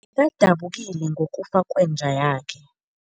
dabukile ngokufa kwenja yakhe.